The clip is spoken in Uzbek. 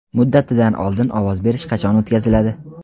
Muddatidan oldin ovoz berish qachon o‘tkaziladi?.